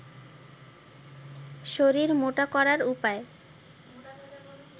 শরীর মোটা করার উপায়